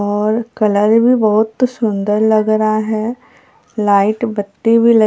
और कलर भी बहुत सुंदर लग रहा है लाइट बत्ती भी लगी--